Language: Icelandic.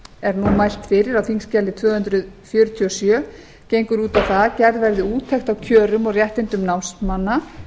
er mælt fyrir á þingskjali tvö hundruð fjörutíu og sjö gengur út á það að gerð verði úttekt á kjörum og réttindum námsmanna